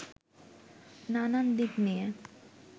নানান দিক নিয়ে